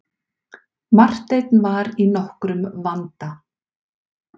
Marteinn var í nokkrum vanda.